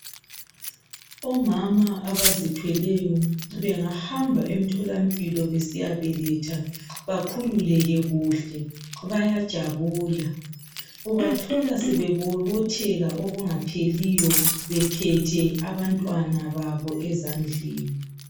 Omama abazithweleyo bengahamba emtholampilo besiyabeletha, bakhululeke kuhle bayajabula. Ubathola sebebobotheka okungapheliyo bephethe abantwana babo ezandleni.